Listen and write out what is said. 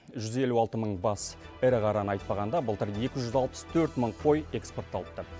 жүз елу алты мың бас ірі қараны айтпағанда былтыр екі жүз алпыс төрт мың қой экспортталыпты